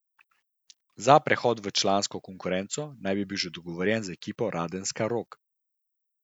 Za prehod v člansko konkurenco naj bi bil že dogovorjen z ekipo Radenska Rog.